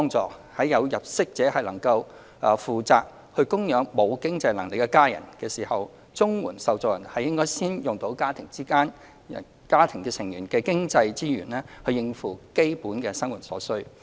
在有入息者能負責供養沒有經濟能力的家人的時候，綜援受助人應先使用家庭成員的經濟資源應付基本生活所需。